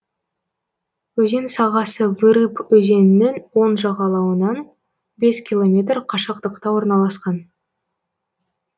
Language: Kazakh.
өзен сағасы вырып өзенінің оң жағалауынан бес километр қашықтықта орналасқан